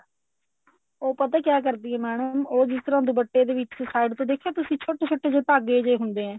ਉਹ ਪਤਾ ਕਿਆ ਕਰਦੀ ਐ madam ਉਹ ਜਿਸ ਤਰ੍ਹਾਂ ਦੁਪੱਟੇ ਦੇ ਵਿੱਚ side ਤੇ ਦੇਖਿਆ ਤੁਸੀਂ ਛੋਟੇ ਛੋਟੇ ਜੇ ਧਾਗੇ ਹੁੰਦੇ ਹੈ